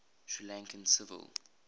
sri lankan civil